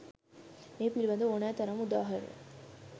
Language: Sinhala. මේ පිළිබඳ ඕනෑ තරම් උදාහරණ